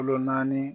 Kolo naani